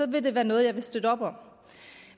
vil det være noget jeg vil støtte op om